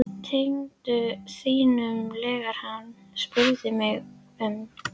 Tengdaföður þínum, þegar hann spurði um mig